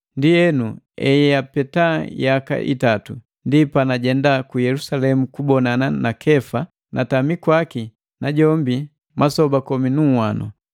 Ndienu, eyapeta yaka itatu, ndi panajenda ku Yelusalemu kubonana na Kefa, natami kwaki najombi masoba komi nu nhwano.